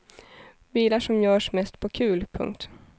Bilar som görs mest på kul. punkt